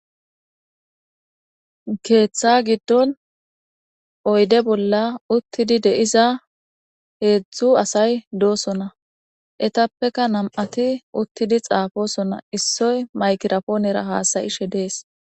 keeththa giddon oyde bolla uttidi deiza heedzdzu asay doosona etappeka nam7ati uttidi xaafosona issoy maykirapoonera haasayishe dees